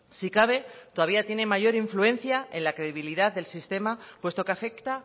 si cabe todavía tiene mayor influencia en la credibilidad del sistema puesto que afecta